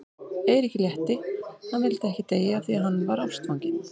Eiríki létti, hann vildi ekki deyja af því að hann var ástfanginn.